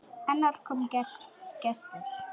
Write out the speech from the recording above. Annars kom gestur.